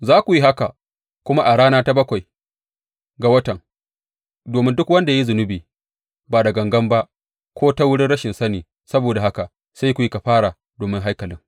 Za ku yi haka kuma a rana ta bakwai ga watan domin duk wanda ya yi zunubai ba da gangan ba ko ta wurin rashin sani; saboda haka sai ku yi kafara domin haikalin.